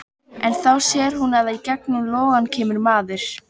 En þá sér hún að í gegnum logana kemur maður.